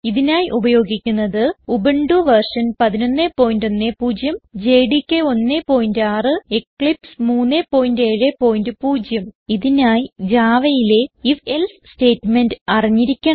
ഇതിനായി ഉപയോഗിക്കുന്നത് Ubuntu v 1110 JDK 16 Eclipse 370 ഇതിനായി javaയിലെ ഐഎഫ് എൽസെ സ്റ്റേറ്റ്മെന്റ് അറിഞ്ഞിരിക്കണം